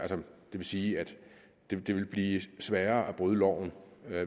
vil sige at det vil blive sværere at bryde loven